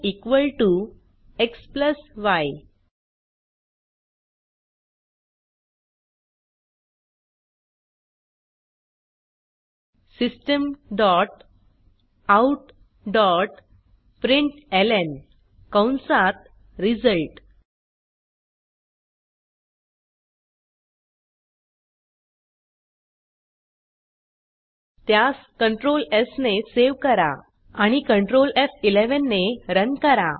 Result xy systemoutप्रिंटलं कंसात result त्यास कंट्रोल स् ने सेव करा आणि कंट्रोल एफ11 ने रन करा